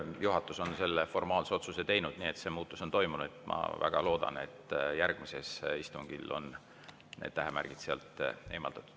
Juhatus on formaalse otsuse teinud, nii et see muutus on toimunud, ja ma väga loodan, et järgmisel istungil on need tähemärgid sealt eemaldatud.